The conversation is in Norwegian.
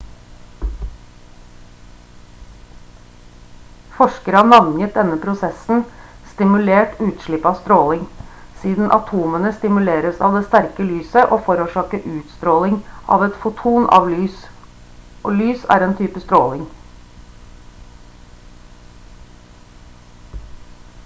forskere har navngitt denne prosessen «stimulert utslipp av stråling» siden atomene stimuleres av det sterke lyset og forårsaker utstråling av et foton av lys og lys er en type stråling